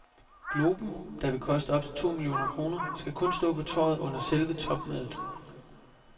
Globen, der vil koste op til to millioner kroner, skal kun stå på torvet under selve topmødet.